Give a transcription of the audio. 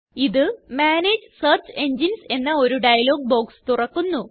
ഇത് manage search engines എന്ന ഒരു ഡയലോഗ് ബോക്സ് തുറക്കുന്നു